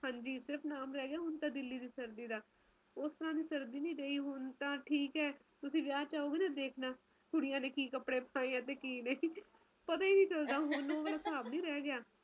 ਹਾਂਜੀ ਹੁਣ ਤਾ ਸਿਰਫ ਨਾਮ ਰਹਿ ਗਿਆ ਦਿੱਲੀ ਦੀ ਸਰਦੀ ਦਾ ਉਸ ਤਰਾਂ ਦੀ ਸਰਦੀ ਨਹੀਂ ਰਹੀ ਹੁਣ ਤਾ ਠੀਕ ਹੈ ਤੁਸੀ ਵਿਆਹ ਚ ਆਓਗੇ ਤਾ ਦੇਖਣਾ ਕੁੜੀਆਂ ਨੇ ਕਿ ਕੱਪੜੇ ਪਾਏ ਆ ਤੇ ਕਿ ਨਹੀਂ ਪਤਾ ਨੀ ਚਲਦਾ ਹੁਣ ਉਹ ਵਾਲਾ ਹਿਸਾਬ ਨਹੀਂ ਰਹਿ ਗਿਆ